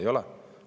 Ei ole!